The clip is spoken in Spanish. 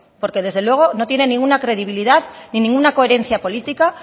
porque desde luego no tiene ninguna credibilidad ni ninguna coherencia política